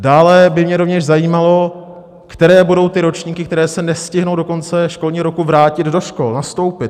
Dále by mě rovněž zajímalo, které budou ty ročníky, které se nestihnou do konce školního roku vrátit do škol, nastoupit.